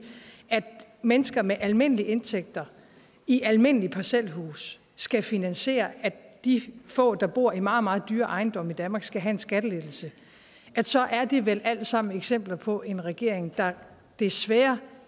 at mennesker med almindelige indtægter i almindelige parcelhuse skal finansiere at de få der bor i meget meget dyre ejendomme i danmark skal have en skattelettelse så er det vel alt sammen eksempler på en regering der desværre